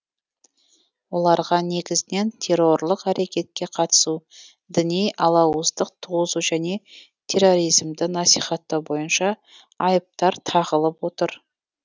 оларға негізінен террорлық әрекетке қатысу діни алауыздық туғызу және терроризмді насихаттау бойынша айыптар тағылып отыр